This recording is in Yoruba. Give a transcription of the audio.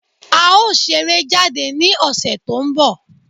A ó ṣeré jáde ní ọ̀sẹ̀ tó ń bọ̀.